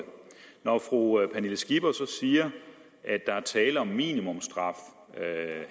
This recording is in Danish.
når fru pernille skipper så siger at der er tale om minimumsstraf